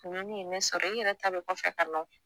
Kungo min ye ne sɔrɔ i yɛrɛ ta be kɔfɛ ka na o